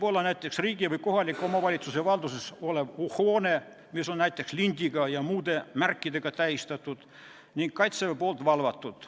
Näiteks, riigi või kohaliku omavalitsuse valduses olev hoone on lindiga ja muude märkidega tähistatud ning Kaitseväe poolt valvatud.